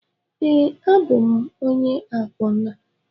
Ee, abụ m onye akwụna